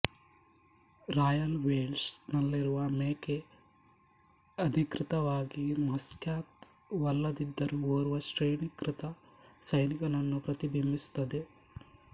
royal Welsh ನಲ್ಲಿರುವ ಮೇಕೆ ಅಧಿಕೃತವಾಗಿ ಮ್ಯಾಸ್ಕಾಟ್ ವಲ್ಲದಿದ್ದರೂ ಓರ್ವ ಶ್ರೇಣಿಕೃತ ಸೈನಿಕನನ್ನು ಪ್ರತಿಬಿಂಬಿಸುತ್ತದೆ